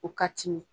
O ka timi